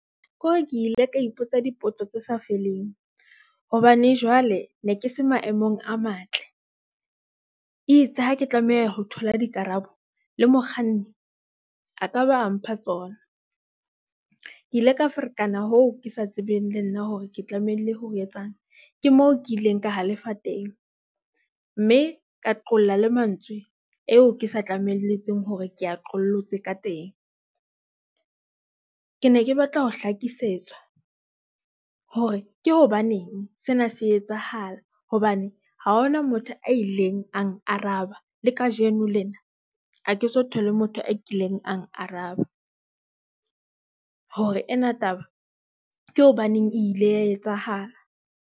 Kore ke ile ka ipotsa dipotso tse sa feleng, hobane jwale ne ke se maemong a matle e itse ha ke tlameha ho thola dikarabo le mokganni, a ka ba a mpha tsona. Ke ile ka ferekana hoo ke sa tsebeng le nna hore ke tlamehile hore etsang. Ke moo ke ileng ka halefa teng mme ka qolla le mantswe eo ke sa tlamelletse hore ke a qoletse ka teng. Ke ne ke batla ho hlakisetswa hore ke hobaneng. Sena se etsahala hobane ha hona motho a ileng a ang araba le kajeno lena ha ke so thole motho a kileng ang araba. Hore ena taba ke hobaneng e ile ya etsahala.